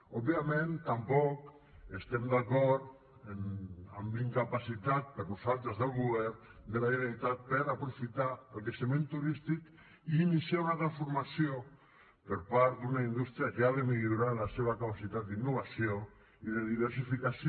òbviament tampoc estem d’acord amb la incapacitat per nosaltres del govern de la generalitat per aprofitar el creixement turístic i iniciar una transformació per part d’una indústria que ha de millorar la seva capacitat d’innovació i de diversificació